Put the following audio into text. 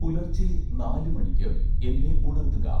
പുലർച്ചെ നാല് മണിക്ക് എന്നെ ഉണർത്തുക